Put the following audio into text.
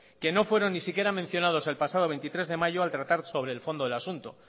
que no fueron ni siquiera mencionados el pasado veintitrés de mayo al tratar sobre el fondo del asunto